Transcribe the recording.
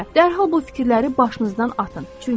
dərhal bu fikirləri başınızdan atın.